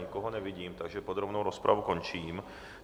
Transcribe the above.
Nikoho nevidím, takže podrobnou rozpravu končím.